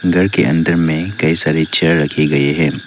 घर के अंदर में कई सारी चेयर रखे गए हैं।